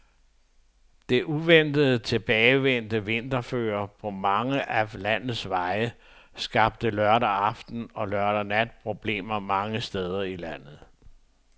Det uventet tilbagevendte vinterføre på mange af landets veje skabte lørdag aften og lørdag nat problemer mange steder i landet.